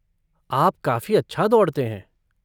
आप काफ़ी अच्छा दौड़ते हैं।